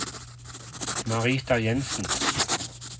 Marita Jensen